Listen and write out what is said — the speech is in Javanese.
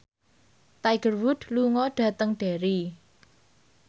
Tiger Wood lunga dhateng Derry